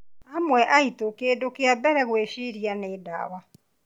Amwe aitũ kĩndũ kĩa mbere gwĩciria nĩ ndawa